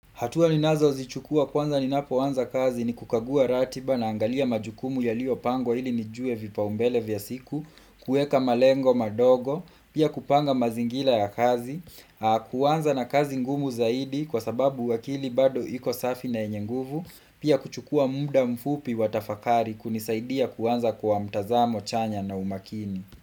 Hatua ninazozichukua kwanza ninapoanza kazi ni kukagua ratiba, naangalia majukumu yaliyopangwa ili nijue vipaumbele vya siku, kuweka malengo madogo, pia kupanga mazingira ya kazi, huanza na kazi ngumu zaidi kwa sababu akili bado iko safi na yenye nguvu, pia kuchukua muda mfupi wa tafakari kunisaidia kuanza kwa mtazamo chanya na umakini.